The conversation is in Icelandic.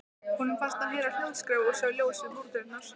Honum fannst hann heyra hljóðskraf og sá ljós við búrdyrnar.